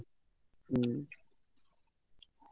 ହୁଁ